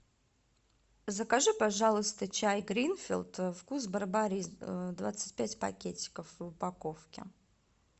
закажи пожалуйста чай гринфилд вкус барбарис двадцать пять пакетиков в упаковке